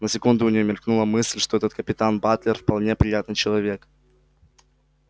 на секунду у нее мелькнула мысль что этот капитан батлер вполне приятный человек